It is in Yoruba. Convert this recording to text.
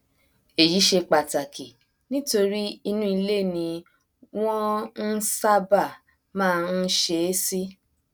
èyí ṣe pàtàkì nítorí inú ilé ni wọn n ṣábà má n ṣe é sí